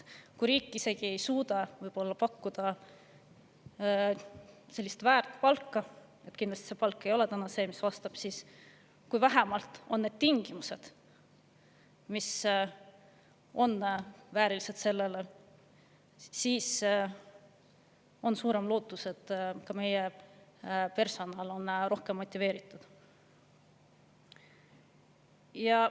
Kui riik ei suuda pakkuda palka – kindlasti ei ole see palk selline, mis vastab –, aga vähemalt on väärilised tingimused, siis on suurem lootus, et meie personal on rohkem motiveeritud.